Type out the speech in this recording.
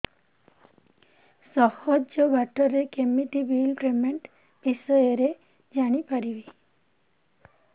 ସହଜ ବାଟ ରେ କେମିତି ବିଲ୍ ପେମେଣ୍ଟ ବିଷୟ ରେ ଜାଣି ପାରିବି